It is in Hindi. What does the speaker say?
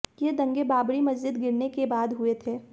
ये दंगे बाबरी मस्जिद गिरने के बाद हुए थे